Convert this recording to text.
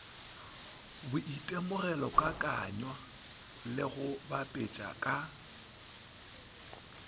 boitemogelokakanywa le go bapetša ka